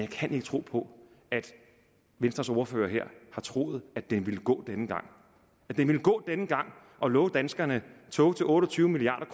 kan ikke tro på at venstres ordfører her har troet at den ville gå denne gang at det ville gå denne gang at love danskerne tog til otte og tyve milliard